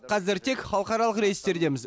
қазір тек халықаралық рейстердеміз